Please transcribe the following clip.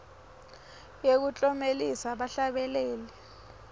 yekuklomelisa bahlabeleli